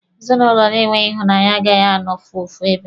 Ezinụlọ na-enweghị ịhụnanya agaghị anọfu ofu ebe.